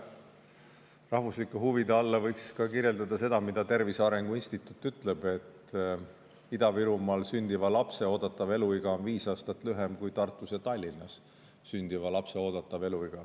Rahvusliku huvina võiks kirjeldada ka seda, mida ütleb Tervise Arengu Instituut: et Ida-Virumaal sündiva lapse oodatav eluiga on viis aastat lühem kui Tartus ja Tallinnas sündiva lapse oodatav eluiga.